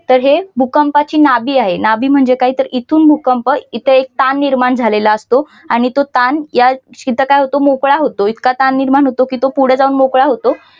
तर हे भूकंपाची नावे आहे नाभी म्हणजे काय तर इथून भूकंप इथे एक ताण निर्माण झालेला असतो आणि तो ताण याचा अर्थ काय होतो मोकळा होतो इतका ताण निर्माण होतो की तो पुढे जाऊन मोकळा होतो.